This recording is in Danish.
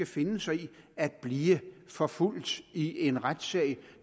finde sig i at blive forfulgt i en retssag